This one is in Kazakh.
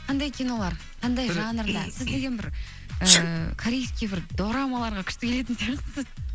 қандай кинолар қандай жанрда сіздеген бір ыыы корейский бір дорамаларға күшті келетін сияқтысыз